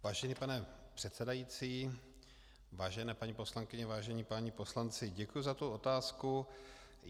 Vážený pane předsedající, vážené paní poslankyně, vážení páni poslanci, děkuji za tu otázku.